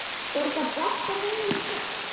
Borga bankar þennan skatt?